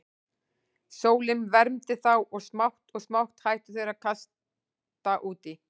Sólin vermdi þá og smátt og smátt hættu þeir að kasta út í.